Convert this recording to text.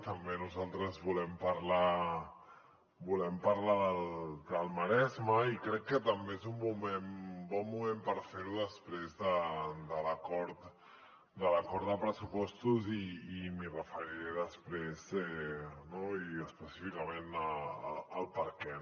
també nosaltres volem parlar del maresme i crec que també és un bon moment per fer ho després de l’acord de pressupostos i m’hi referiré després no i específicament al perquè